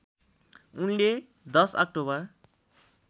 उनले १० अक्टोबर